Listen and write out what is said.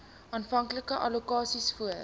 aanvanklike allokasies voor